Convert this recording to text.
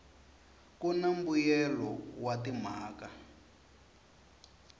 ku na mbuyelelo wa timhaka